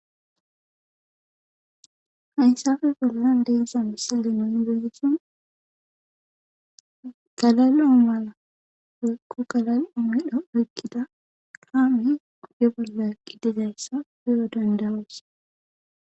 Hayssappe bollan de'iza misileza nu be'ishin galal'o mala woyko galal'o medho oykida kaamey oge bolla eqqi dizayssa be'o danda'os.